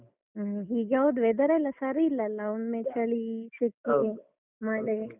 ಹ್ಮ್. ಈಗ ಹೌದು weather ಲ್ಲ ಸರಿ ಇಲ್ಲಲ್ಲ ಒಮ್ಮೆ ಚಳಿ, ಸೆಕೆ, ಮಳೆ.